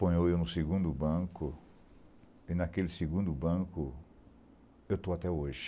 Ponho eu no segundo banco, e naquele segundo banco eu estou até hoje.